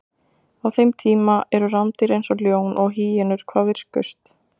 Á þeim tíma eru rándýr eins og ljón og hýenur hvað virkust.